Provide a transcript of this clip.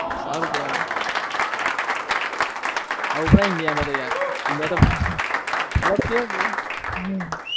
સારું કેવાય આવું પડે Indian માં મતલબ કે